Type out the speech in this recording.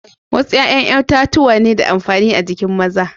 Wassu yayan itatuwan na de amfani a'jikin maza.